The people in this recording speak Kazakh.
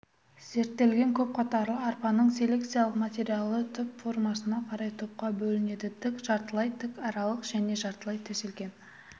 зерттелген көп қатарлы арпаның селекциялық материалы түп формасына қарай топқа бөлінеді тік жартылай тік аралық және жартылай төселген